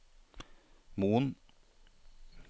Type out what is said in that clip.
Moen